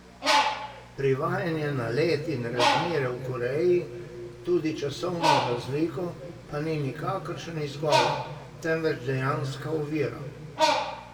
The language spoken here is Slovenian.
Privajanje na led in razmere v Koreji, tudi časovno razliko, pa ni nikakršen izgovor, temveč dejanska ovira.